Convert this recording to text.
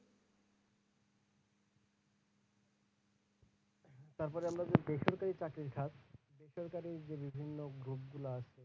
তারপরে আমরা যে বেসরকারি চাকরি খাত, বেসরকারির যে বিভিন্ন group গুলা আছে,